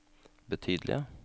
betydelige